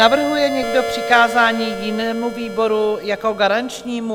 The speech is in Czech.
Navrhuje někdo přikázání jinému výboru jako garančnímu?